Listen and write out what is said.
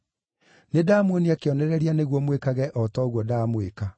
Nĩndamuonia kĩonereria nĩguo mwĩkage o ta ũguo ndamwĩka.